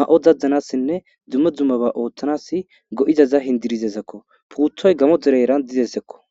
ma'o daddanassinne dzumme dzummaba ooththanas go'izaza hindirizesekko puuthoy gamo dere eran didesekko